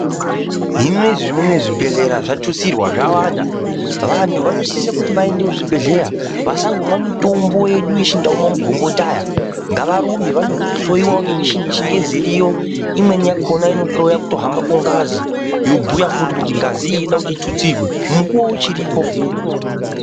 Zvinozvi unou zvibhedhlera zvatutsirwa zvawanda vantu vanosise kuenda kuzvibhedhlera vasangomwa mitombo yedu yechinyakare magomboti ngavarumbe vandohloiwa ngemuchini yechingezi iriyo kuhloiwa kufamba kwengazi ngazi iyi yobhuiwa kuti ngazi iyi inoda kuti itutsirwe mukuwo uchiripo.